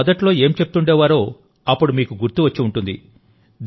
ప్రజలు మొదట్లో ఏమి చెప్తుండేవారో అప్పుడు మీకు గుర్తుకు వచ్చి ఉంటుంది